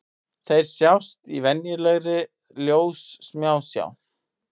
Þeir sjást í venjulegri ljóssmásjá.